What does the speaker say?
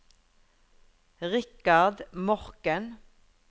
Richard Morken